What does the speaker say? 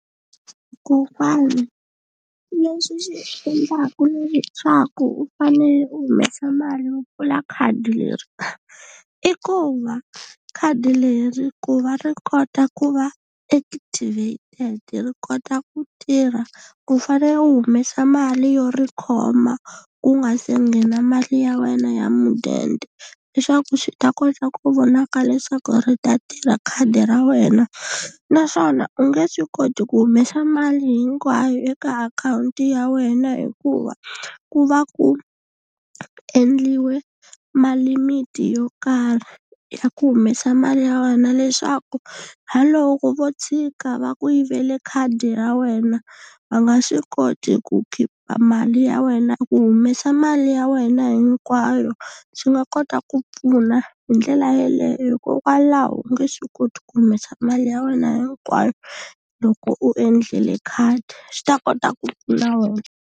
Kokwana leswi swi endlaka leswaku u fanele u humesa mali yo pfula khadi leri, i ku va khadi leri ku va ri kota ku va activated ri kota ku tirha u fanele u humesa mali yo ri khoma ku nga se nghena mali ya wena ya mudende, leswaku swi ta kota ku vonaka leswaku ri ta tirha khadi ra wena. Naswona u nge swi koti ku humesa mali hinkwayo eka akhawunti ya wena hikuva ku va ku endliwe malimiti yo karhi ya ku humesa mali ya wena leswaku na loko vo tshika va ku yivele khadi ra wena va nga swi koti ku khipa mali ya wena. Ku humesa mali ya wena hinkwayo swi nga kota ku pfuna hi ndlela yeleyo hikokwalaho u nge swi koti ku humesa mali ya wena hinkwayo loko u endlile khadi swi ta kota ku pfuna wena.